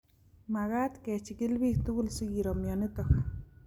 Magat kechigil biik tugul sikiro mionitok